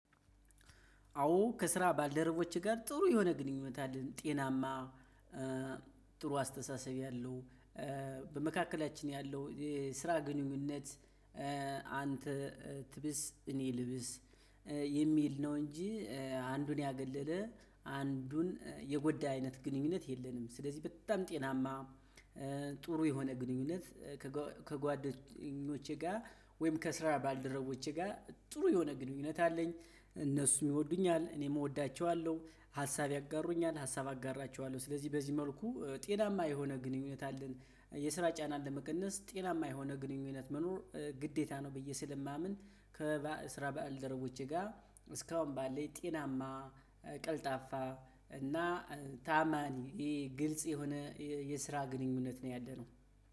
አዎ ከስራ ባልደረቦችህ ጋር ጥሩ የሆነ ግንኙነት አለን ጤናማ ጥሩ አስተሳሰብ ያለው በመካከላችን ያለው የስራ ግንኙነት። አንተ ትብስ እኔ ልብስ የሚል ነው እንጂ አንዱን ያገለለ አንዱን የጎዳ አይነት ግንኙነት የለንም ስለዚህ በጣም ጤናማ ጥሩ የሆነ ግንኙነት። ከጓደኞቼ ጋር ወይም ከስራ ባልደረቦቼ ጋር ጥሩ የሆነ ግንኙነት አለኝ እነሱ ይሚወዱኛል እኔም እወዳቸዋለሁ ሀሳብ ያጋሩኛል ሀሳብ አጋራቸዋለሁ ስለዚህ በዚህ መልኩ ጤናማ የሆነ ግንኙነት አለን። የስራ ጭናን ለመቀነስ ጤናማ የሆነ ግንኙነት መኖር ግዴታ ነው ብየ ስለማምን። ከስራ ባልደረቦቼ ጋር እስካሁን ባለኝ ጤናማ፣ ቀልጣፋ እና ታማኒ ግልጽ የሆነ ግንኙነት ነው ያለው።